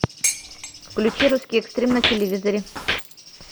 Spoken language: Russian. включи русский экстрим на телевизоре